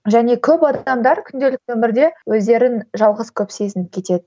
және көп адамдар күнделікті өмірде өздерін жалғыз көп сезініп кетеді